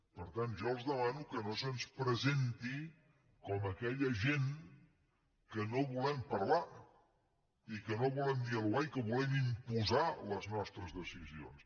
per tant jo els demano que no se’ns presenti com aquella gent que no volem parlar i que no volem dialogar i que volem imposar les nostres decisions